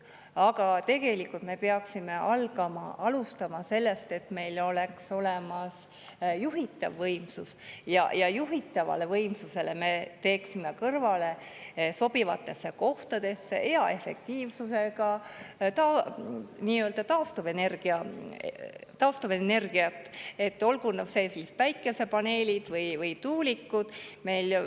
Aga tegelikult me peaksime alustama sellest, et meil oleks olemas juhitav võimsus, ja juhitava võimsuse kõrvale me teeksime sobivatesse kohtadesse hea efektiivsusega taastuvenergia, olgu need päikesepaneelid või tuulikud.